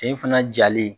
Sen fana jalen